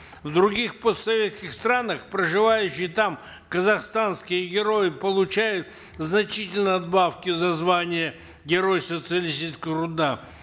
в других постсоветских странах проживающие там казахстанские герои получают значительные надбавки за звание герой социалистического труда